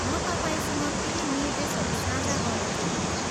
म तपाईँसँग केही निर्देशहरू साझा गर्न चहान्थेँ।